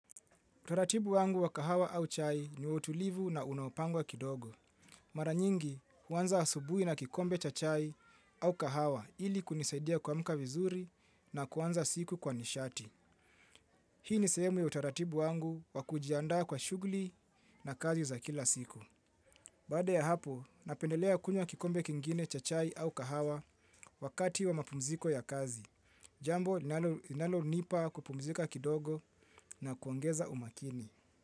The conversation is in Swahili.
Utaratibu wangu wa kahawa au chai ni wa utulivu na unaopangwa kidogo. Mara nyingi, huanza asubuhi na kikombe cha chai au kahawa ili kunisaidia kuamuka vizuri na kuanza siku kwa nishati. Hii ni sehemu ya utaratibu wangu wa kujiandaa kwa shugli na kazi za kila siku. Baada ya hapo, napendelea kunywa kikombe kingine cha chai au kahawa wakati wa mapumziko ya kazi. Jambo, linalo nipa kupumzika kidogo na kuongeza umakini.